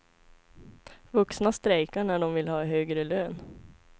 Vuxna strejkar när de vill ha högre lön.